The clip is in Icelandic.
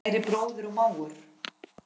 Kæri bróðir og mágur.